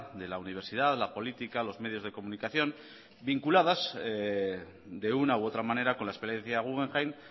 de la universidad la política los medios de comunicación vinculadas de una u otra manera con la experiencia guggenheim